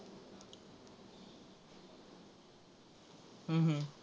हम्म हम्म